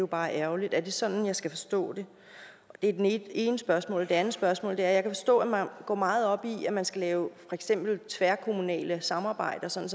bare ærgerligt er det sådan jeg skal forstå det det er det ene spørgsmål det andet spørgsmål er jeg kan forstå at man går meget op i at man skal lave tværkommunale samarbejder sådan